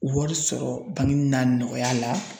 Wari sɔrɔ bangeni n'a nɔgɔya la